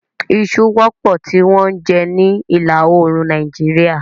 Isu wọ́pọ̀ tí wọ́n ń jẹ ní ìlà oòrùn Nàìjíríà.